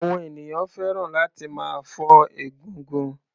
Àwọn ènìyàn fẹ́ràn láti máa fọ́ egungun.